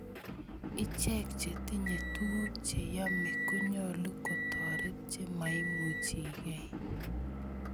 Ichek che tinye tuguk che yome konyolu kotoret che maimuchikey.